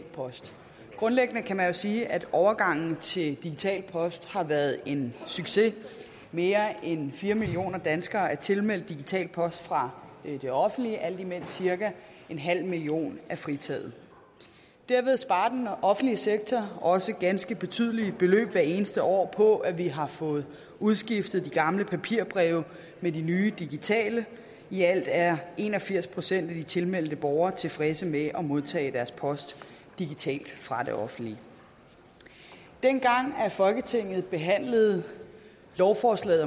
post grundlæggende kan man jo sige at overgangen til digital post har været en succes mere end fire millioner danskere er tilmeldt digital post fra det offentlige alt imens cirka en halv million er fritaget derved sparer den offentlige sektor også ganske betydelige beløb hvert eneste år på at vi har fået udskiftet de gamle papirbreve med de nye digitale i alt er en og firs procent af de tilmeldte borgere tilfredse med at modtage deres post digitalt fra det offentlige dengang folketinget behandlede lovforslaget